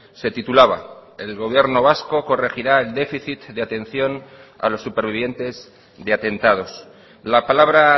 se titulaba el gobierno vasco corregirá el déficit de atención a los supervivientes de atentados la palabra